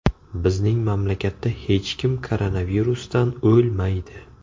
Bizning mamlakatda hech kim koronavirusdan o‘lmaydi.